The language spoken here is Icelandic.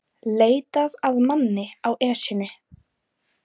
Leitað að manni á Esjunni